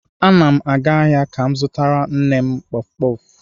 Ana m aga ahịa ka m zụtara nne m kpọf kpọf.